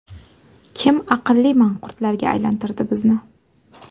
Kim aqlli manqurtlarga aylantirdi bizni?